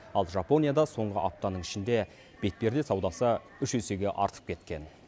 ал жапонияда соңғы аптаның ішінде бетперде саудасы үш есеге артып кеткен